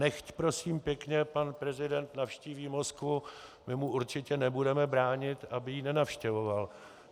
Nechť, prosím pěkně, pan prezident navštíví Moskvu, my mu určitě nebudeme bránit, aby ji nenavštěvoval.